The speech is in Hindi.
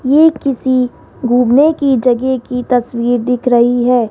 ये किसी घूमने की जगह की तस्वीर दिख रही है।